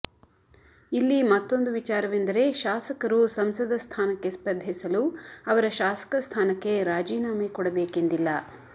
ಇಲ್ಲಿ ಮತ್ತೂಂದು ವಿಚಾರವೆಂದರೆ ಶಾಸಕರು ಸಂಸದ ಸ್ಥಾನಕ್ಕೆ ಸ್ಪರ್ಧಿಸಲು ಅವರ ಶಾಸಕ ಸ್ಥಾನಕ್ಕೆ ರಾಜೀನಾಮೆ ಕೊಡಬೇಕೆಂದಿಲ್ಲ